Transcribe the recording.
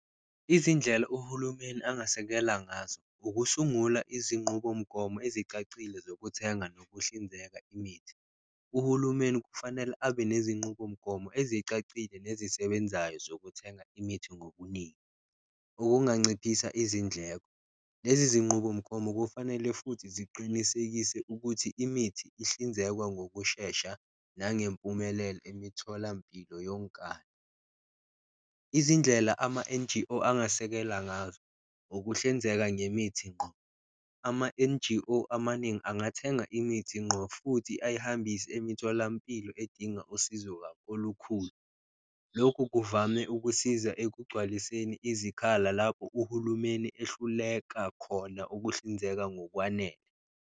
Izindlela uhulumeni angasekela ngazo ukusungula izinqubomgomo ezicacile zokuthenga nokuhlinzeka imithi, uhulumeni kufanele abe nezinqubomgomo ezicacile nezisebenzayo zokuthenga imithi ngobuningi, okunganciphisa izindleko. Lezi zinqubomgomo kufanele futhi ziqinisekise ukuthi imithi ihlinzekwa ngokushesha nangempumelelo emitholampilo yonkana, izindlela ama-N_G_O angasekela ngazo ukuhlinzeka ngemithi nqo. Ama-N_G_O amaningi angathenga imithi nqo futhi ayihambise emitholampilo edinga usizo olukhulu, lokhu kuvame ukusiza ekugcwaliseni izikhala lapho uhulumeni ehluleka khona ukuhlinzeka ngokwanele.